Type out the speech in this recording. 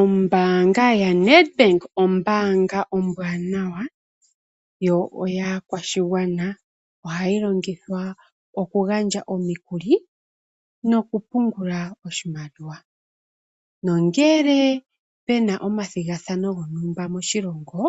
Ombaanga yaNEDBANK, ombaanga ombwaanawa, yo oyaa kwashigwana. Ohayi longithwa oku gandja omikuli noku pungula oshimaliwa, nongele puna omathigathano gontumba moshilongo,